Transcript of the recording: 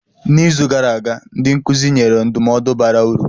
N'izu gara aga, ndị nkụzi nyere ndụmọdụ bara uru.